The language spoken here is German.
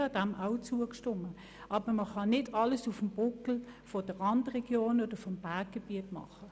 Ich habe dem auch zugestimmt, aber man kann nicht alles auf dem Buckel der Randregionen und des Berggebiets machen.